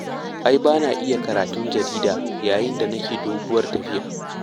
Ai ba na iya karatun jarida yayin da nake doguwar tafiya.